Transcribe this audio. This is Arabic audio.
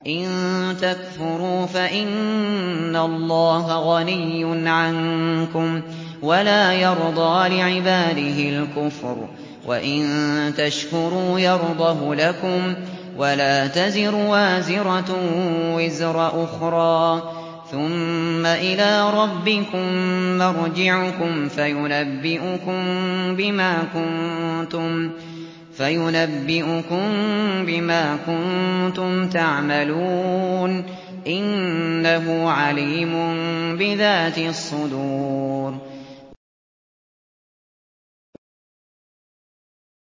إِن تَكْفُرُوا فَإِنَّ اللَّهَ غَنِيٌّ عَنكُمْ ۖ وَلَا يَرْضَىٰ لِعِبَادِهِ الْكُفْرَ ۖ وَإِن تَشْكُرُوا يَرْضَهُ لَكُمْ ۗ وَلَا تَزِرُ وَازِرَةٌ وِزْرَ أُخْرَىٰ ۗ ثُمَّ إِلَىٰ رَبِّكُم مَّرْجِعُكُمْ فَيُنَبِّئُكُم بِمَا كُنتُمْ تَعْمَلُونَ ۚ إِنَّهُ عَلِيمٌ بِذَاتِ الصُّدُورِ